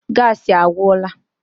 Gassi agwụla.